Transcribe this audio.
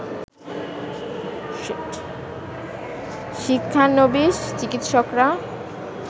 শিক্ষানবিস চিকিৎসকরা